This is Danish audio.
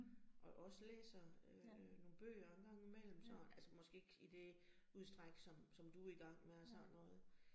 Og også læser øh nogle bøger en gang imellem sådan, altså måske ikke i det udstræk, som som du i gang med og sådan noget